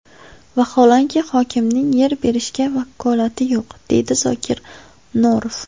Vaholanki, hokimning yer berishga vakolati yo‘q,deydi Zokir Norov.